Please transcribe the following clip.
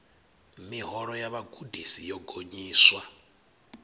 miholo ya vhagudisi yo gonyiswa